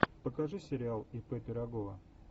покажи сериал и п пирогова